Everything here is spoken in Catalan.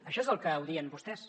això és el que odien vostès